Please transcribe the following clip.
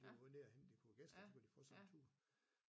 Det var nede og hente de kunne gæsterne de kunne få sig en tur